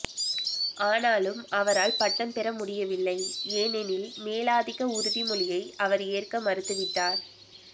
ஆனாலும் அவரால் பட்டம் பெற முடியவில்லை ஏனெனில் மேலாதிக்க உறுதிமொழியை அவர் ஏற்க மறுத்துவிட்டார்